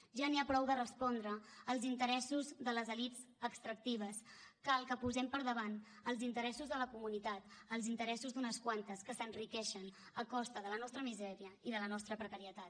ja n’hi ha prou de respondre als interessos de les elits extractives cal que posem per davant els interessos de la comunitat als interessos d’unes quantes que s’enriqueixen a costa de la nostra misèria i de la nostra precarietat